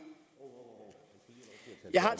jeg har